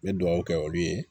N bɛ dugawu kɛ olu ye